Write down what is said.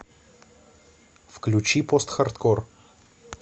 включи постхардкор